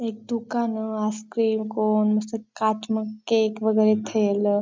एक दुकान ice cream cone काँच म केक वगेरे ठेवल.